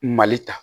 Mali ta